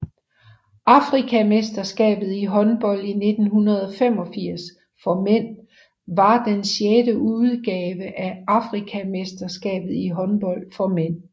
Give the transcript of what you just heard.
Afrikamesterskabet i håndbold 1985 for mænd var den sjette udgave af Afrikamesterskabet i håndbold for mænd